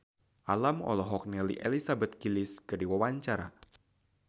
Alam olohok ningali Elizabeth Gillies keur diwawancara